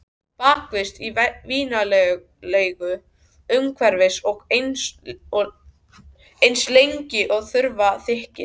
Bakist í vinalegu umhverfi og eins lengi og þurfa þykir.